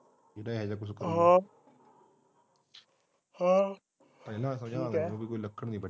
ਕਹਿੰਦਾ ਜਿਹੜਾ ਹਾਂ ਹਾਂ ਲੱਕੜ ਨੀ ਵੱਢਣੀ